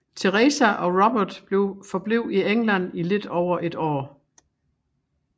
Teresa og Robert forblev i England i lidt over et år